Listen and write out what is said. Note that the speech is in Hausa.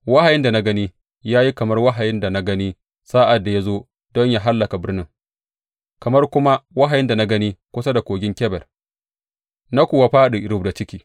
Wahayin da na gani ya yi kamar wahayin da na gani sa’ad da ya zo don yă hallaka birnin, kamar kuma wahayin da na gani kusa da Kogin Kebar, na kuwa fāɗi rubda ciki.